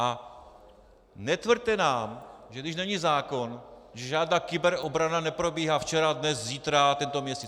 A netvrďte nám, že když není zákon, že žádná kyberobrana neprobíhá včera, dnes, zítra, tento měsíc.